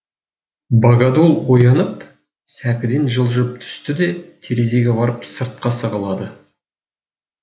богодул оянып сәкіден жылжып түсті де терезеге барып сыртқа сығалады